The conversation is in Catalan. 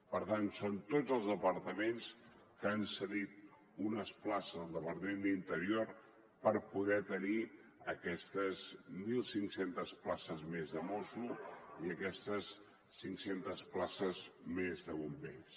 per tant són tots els departaments que han cedit unes places al departament d’interior per poder tenir aquestes mil cinc cents places més de mossos i aquestes cinc centes places més de bombers